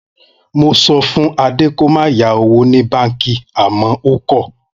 Mo so̩ fún Adé kí ó má yá owó ní báǹkì àmó̩ ó kò̩